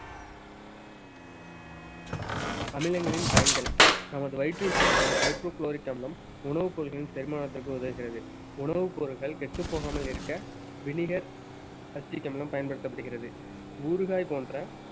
அமிலங்களின் பயன்கள் நமது வயிற்றில் சுரக்கும் hydrochloric அமிலம் உணவுப் பொருட்களின் செரிமானத்திற்கு உதவுகிறது உணவுப் பொருட்கள் கெட்டப் போகாமல் இருக்க vinegar அமிலம் பயன்படுத்தப்படுகிறது ஊறுகாய் போன்ற